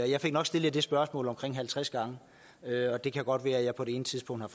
jeg fik nok stillet det spørgsmål omkring halvtreds gange og det kan godt være at jeg på et tidspunkt har